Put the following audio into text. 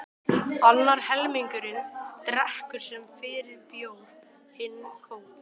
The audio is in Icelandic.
Annar helmingurinn drekkur sem fyrr bjór, hinn kók.